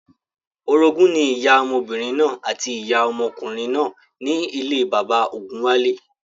Orogún ní ìyá ọmọbìnrin náà àti ìyá ọmọkùnrin náà ní ilé bàbá ògúnwálé